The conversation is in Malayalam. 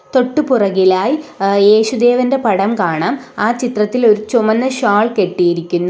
തൊട്ടു പുറകിലായി ഏഹ് യേശുദേവന്റെ പടം കാണാം ആ ചിത്രത്തിൽ ഒരു ചുവന്ന ഷാൾ കെട്ടിയിരിക്കുന്നു.